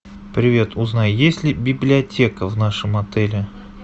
привет узнай есть ли библиотека в нашем отеле